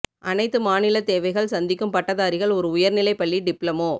அனைத்து மாநில தேவைகள் சந்திக்கும் பட்டதாரிகள் ஒரு உயர்நிலை பள்ளி டிப்ளமோ